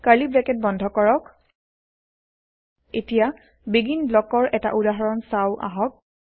curly bracket বন্ধ কৰক এতিয়া বেগিন ব্লকছৰ এটা উদাহৰণ চাও আহক